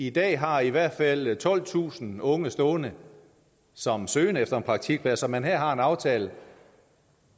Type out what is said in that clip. i dag har i hvert fald tolvtusind unge stående som søger efter en praktikplads og man her har en aftale